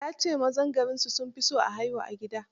Ya ce mazan garinsu sun fi son a haihu a gida.